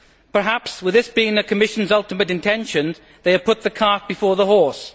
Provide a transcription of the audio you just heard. Perhaps, with this being the Commission's ultimate intention, they have put the cart before the horse.